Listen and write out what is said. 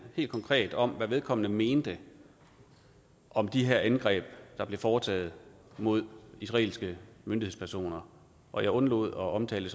helt konkret om hvad vedkommende mente om de her angreb der blev foretaget mod israelske myndighedspersoner og jeg undlod at omtale